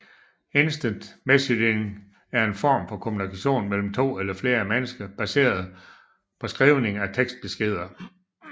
Instant messaging er en form for kommunikation mellem to eller flere mennesker baseret på skrivning af tekstbeskeder